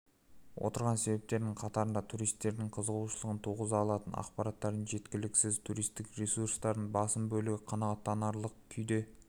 отырған себептерінің қатарында туристердің қызығушылығын туғыза алатын ақпараттардың жеткіліксіз туристік ресурстардың басым бөлігі қанағаттанарлық күйде